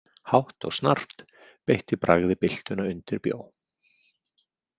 Hátt og snarpt beitti bragði byltuna undirbjó.